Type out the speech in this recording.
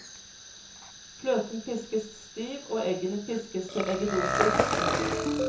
Fløten piskes stiv og eggene piskes til eggedosis. punktum